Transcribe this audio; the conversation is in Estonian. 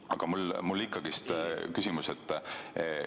Aga mul on ikkagi küsimus.